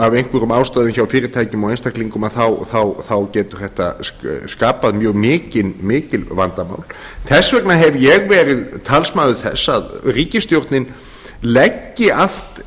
tekjubrestur af einhverjum ástæðum hjá fyrirtækjum og einstaklingum þá getur þetta skapað mjög mikil vandamál þess vegna hef ég verið talsmaður þess að ríkisstjórnin leggi allt